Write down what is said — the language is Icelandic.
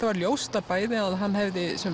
var ljóst að bæði að hann hefði